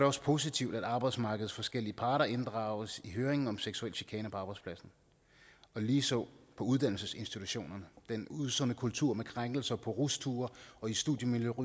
også positivt at arbejdsmarkedets forskellige parter inddrages i høringen om sexuel chikane på arbejdspladsen og ligeså på uddannelsesinstitutionerne den usunde kultur med krænkelser på rusture og i studiemiljøet